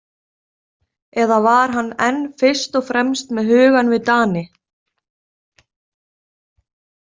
Eða var hann enn fyrst og fremst með hugann við Dani?